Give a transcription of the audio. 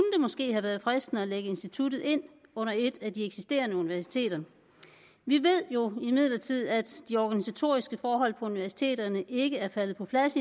måske have været fristende at lægge instituttet ind under et af de eksisterende universiteter vi ved imidlertid at de organisatoriske forhold på universiteterne endnu ikke er faldet på plads